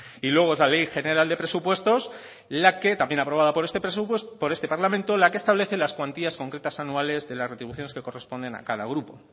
y luego es la ley general de presupuestos también aprobada por este parlamento la que establece las cuantías concretas anuales de las retribuciones que corresponden a cada grupo